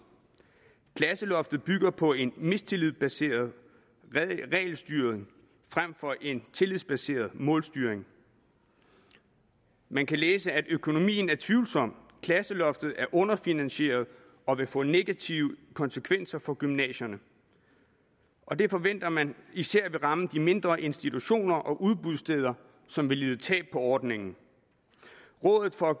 klasseloftet bygger på en mistillidsbaseret regelstyring frem for en tillidsbaseret målstyring man kan læse at økonomien er tvivlsom klasseloftet er underfinansieret og vil få negative konsekvenser for gymnasierne og det forventer man især vil ramme de mindre institutioner og udbudssteder som vil lide tab på ordningen rådet for